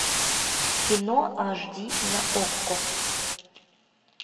кино аш ди на окко